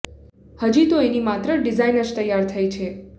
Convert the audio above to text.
હજી તો એની માત્ર ડિઝાઇન જ તૈયાર થઈ છે